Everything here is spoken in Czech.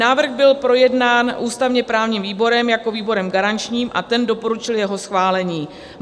Návrh byl projednán ústavně-právním výborem jako výborem garančním a ten doporučil jeho schválení.